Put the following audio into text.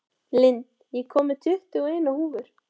Lind, ég kom með tuttugu og eina húfur!